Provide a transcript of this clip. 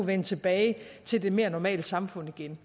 vende tilbage til det mere normale samfund igen